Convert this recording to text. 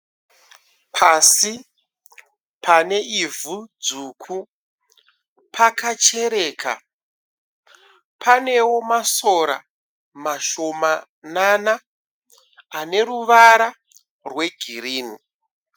Pasi paneivhu dzvuku. Pakachereka. Panewo masora mashomanana ane ruvara rwegirinhi.